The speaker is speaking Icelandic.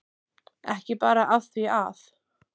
Ekki bara af því að